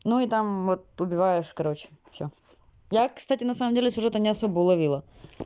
ну и там вот убиваешь короче всё я кстати на самом деле сюжета не особо уловила